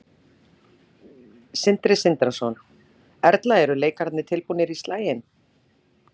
Sindri Sindrason: Erla eru leikararnir tilbúnir í slaginn?